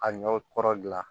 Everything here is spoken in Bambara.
A ɲɔ kɔrɔ dilan